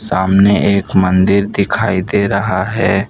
सामने एक मंदिर दिखाई दे रहा है।